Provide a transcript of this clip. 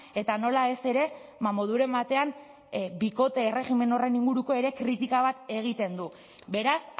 eta nola ez ere moduren batean bikote erregimen horren inguruko ere kritika bat egiten du beraz